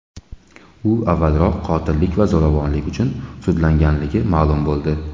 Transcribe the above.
U avvalroq qotillik va zo‘ravonlik uchun sudlanganligi ma’lum bo‘ldi.